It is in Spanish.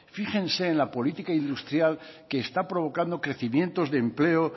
fíjense en la política industrial que está provocando crecimientos de empleo